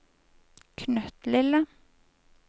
knøttlille